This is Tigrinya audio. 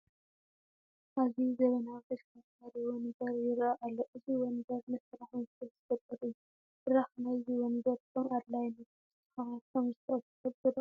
ኣዝዩ ዘመናዊ ተሽከርካሪ ወንበር ይርአ ኣሎ፡፡ እዚ ወንበር ንስራሕ ምቾት ዝፈጥር እዩ፡፡ ብራኽ ናይዚ ወንበር ከምኣድላይነቱ ክስተኻኸል ከምዝኽእል ትፈልጡ ዶ?